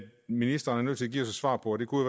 ministeren er nødt til at give os svar på og det kunne